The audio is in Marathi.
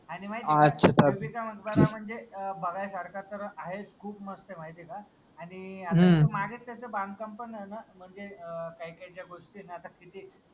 आनि बिबिका मकबरा म्हनजे अं बघायसारखा तर आहेच खूप मस्त ए माहितीय का? आनि त्याच बांधकाम पन झालं म्हनजे अं काही काही ज्या गोष्टी ए न आता किती